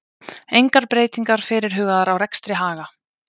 Engar breytingar fyrirhugaðar á rekstri Haga